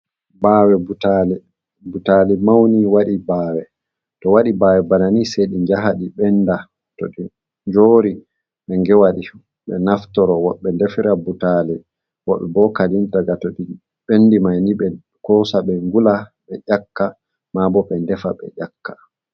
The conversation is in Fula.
Bawe Butali: Butali mauni waɗi bawe to waɗi bawe bana ni, sei ɗi njaha ɗi benda to njori be ngewaɗi ɓe naftoro. Woɓɓe ndefira butali, woɓɓe bo kadin daga to ɗi ɓendi maini ɓe kosa ɓe ngula ɓe ƴakka ma bo, ɓe ndefa ɓe ƴakka.